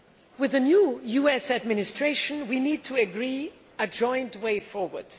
With the new US administration, we need to agree a joint way forward.